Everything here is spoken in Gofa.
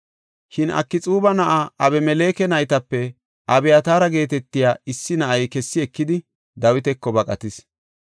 Shin Akxuuba na7aa Abimeleke naytape Abyataara geetetiya issi na7ay kessi ekidi, Dawitako baqatis.